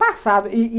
Passado.